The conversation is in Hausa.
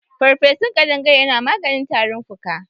Farfesun kaɗangare yana maganin tarin fuka.